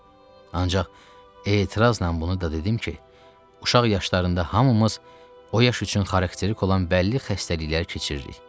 Ancaq etirazla bunu da dedim ki, uşaq yaşlarında hamımız o yaş üçün xarakterik olan bəlli xəstəliklər keçiririk.